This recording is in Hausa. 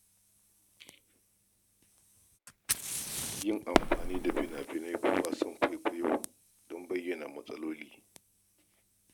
Yin amfani da fina-finai ko wasan kwaikwayo don bayyana matsaloli.